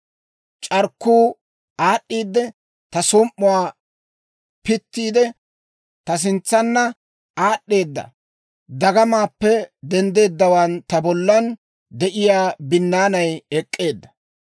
C'arkkuu aad'd'iidde ta som"uwaa pittiidde, ta sintsanna aad'd'eedda; dagamaappe denddeeddawaan ta bollan de'iyaa binnaanay ek'k'eedda.